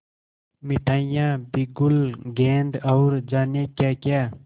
मिठाइयाँ बिगुल गेंद और जाने क्याक्या